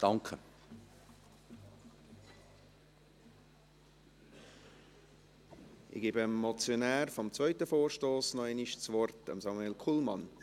Ich gebe dem Motionär des zweiten Vorstosses noch einmal das Wort: Samuel Kullmann.